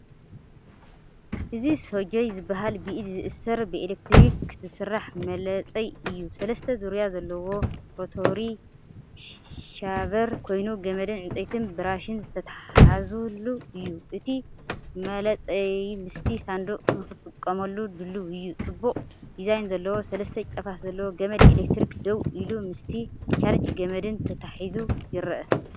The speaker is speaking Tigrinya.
እዚ“ሰጆይ”ዝበሃል ብኢድ ዝእሰር ብኤሌክትሪክ ዝሰርሕ መላጸይ እዩ። ሰለስተ ዙርያ ዘለዎ ሮታሪ ሻቨር ኮይኑ ገመድን ዕንጨይቲ ብራሽን ዝተተሓሓዘሉ እዩ። እቲ መላጸይምስቲ ሳንዱቕ ንኽትጥቀመሉ ድሉው እዩ። ጽቡቕ ዲዛይን ዘለዎ ሰለስተ ጫፋት ዘለዎ ገመድ ኤሌክትሪክ ደው ኢሉ፡ምስቲ ቻርጅ ገመድን ተተሓሒዙ ይረአ።